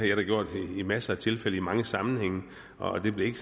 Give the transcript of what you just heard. jeg da gjort i masser af tilfælde i mange sammenhænge og det bliver